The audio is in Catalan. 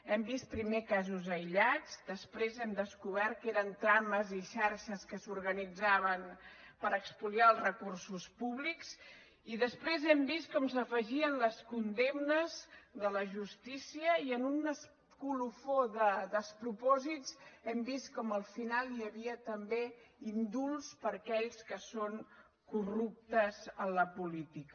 hem vist primer casos aïllats després hem descobert que eren trames i xarxes que s’organitzaven per espoliar els recursos públics i després hem vist com s’afegien les condemnes de la justícia i en un colofó de despropòsits hem vist com al final hi havia també indults per a aquells que són corruptes a la política